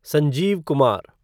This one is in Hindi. संजीव कुमार